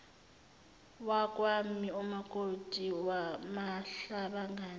wakwami umakoti wamahlabangani